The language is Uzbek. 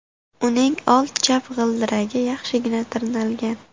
Uning old chap g‘ildiragi yaxshigina tirnalgan.